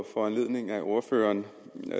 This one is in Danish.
foranledning af ordføreren